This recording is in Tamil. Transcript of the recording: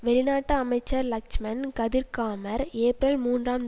வெளிநாட்டு அமைச்சர் லக்ஷ்மன் கதிர்காமர் ஏப்பிரல் மூன்றாம்